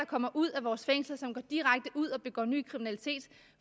kommer ud af vores fængsler og som går direkte ud og begår ny kriminalitet